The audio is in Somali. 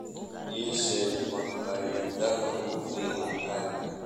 ii sheeg makhaayadaha ugu fiican aagga